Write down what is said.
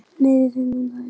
Nei, við fengum það ekki.